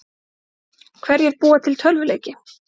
Hverjir búa til tölvuleiki?